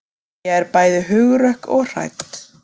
Mæja er bæði hugrökk og hrædd.